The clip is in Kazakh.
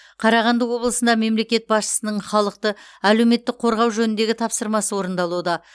қарағанды облысында мемлекет басшысының халықты әлеуметтік қорғау жөніндегі тапсырмасы орындалуда